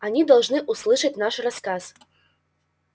они должны услышать ваш рассказ